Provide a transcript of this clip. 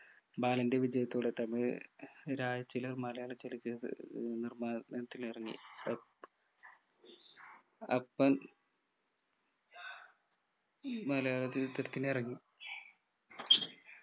ബാലൻ്റെ വിജയത്തോടെ തന്നെ രാജ ചിലർ മലയാള ഏർ നിർമ്മാണത്തിലിറങ്ങി അപ്പം മലയാളചിത്രത്തിനിറങ്ങി